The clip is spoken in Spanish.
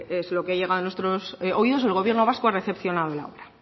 es lo que ha llegado a nuestros oídos el gobierno vasco ha recepcionado la obra